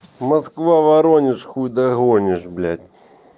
москва-воронеж хуй догонишь блять